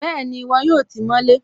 Bẹ́ẹ̀ni, wọn yóò tí mọ́ lé